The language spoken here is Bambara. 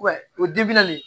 O